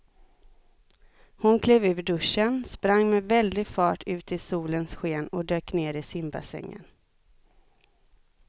Hon klev ur duschen, sprang med väldig fart ut i solens sken och dök ner i simbassängen.